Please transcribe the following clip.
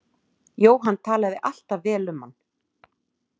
Jóhann talaði alltaf vel um hann.